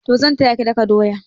Toh zan taya ki daka doya.